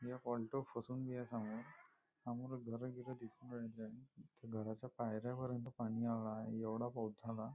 एक ऑलटो फसून आहे समोर समोर घर गिरं वगेरे आहेत त्या घराच्या पायऱ्या पर्यन्त पाणी आले आहे एवढा पाऊस झाला.